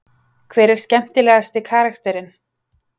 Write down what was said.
Hver er skemmtilegasti karakterinn?